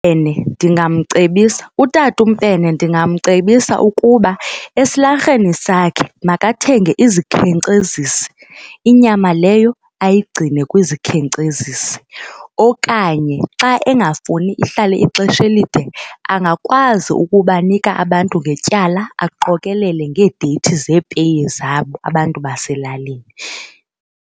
ndingamcebisa, uTatuMfene ndingamcebisa ukuba esilarheni sakhe makathenge izikhenkcezisi inyama leyo ayigcine kwizikhenkcezisi, okanye xa engafuni ihlale ixesha elide angakwazi ukubanika abantu ngetyala aqokelele ngeedeyithi zeepeyi zabo abantu baselalini.